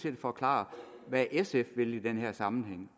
at forklare hvad sf vil i den her sammenhæng